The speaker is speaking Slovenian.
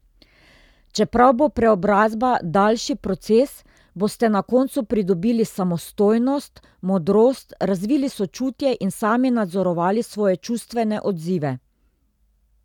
Čeprav bo preobrazba daljši proces, boste na koncu pridobili samostojnost, modrost, razvili sočutje in sami nadzorovali svoje čustvene odzive.